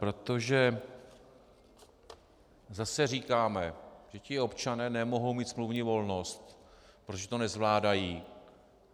Protože zase říkáme, že ti občané nemohou mít smluvní volnost, protože to nezvládají.